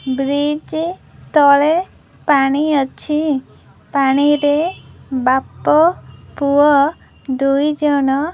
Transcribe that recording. bridge ତଳେ ପାଣି ଅଛି ପାଣିରେ ବାପା ପୁଅ ଦୁଇ ଜଣ --